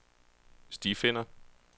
stifinder